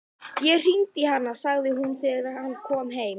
Ég hringdi í hana, sagði hún þegar hann kom heim.